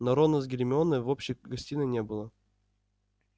но рона с гермионой в общей гостиной не было